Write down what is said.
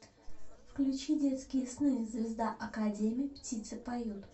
включи детские сны звезда академи птицы поют